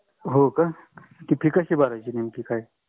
होका ती fee कशी भरायची नक्की काय?